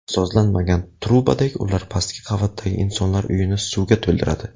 Sozlanmagan trubadek ular pastki qavatdagi insonlar uyini suvga to‘ldiradi.